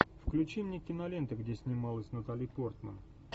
включи мне киноленту где снималась натали портман